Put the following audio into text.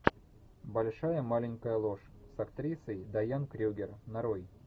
большая маленькая ложь с актрисой дайан крюгер нарой